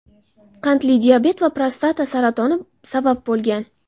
qandli diabet va prostata saratoni sabab bo‘lgan.